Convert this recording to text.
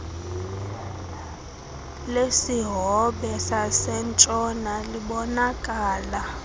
lesihobe sasentshona libonakala